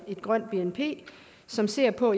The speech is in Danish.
grønt bnp som ser på